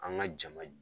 An ka jama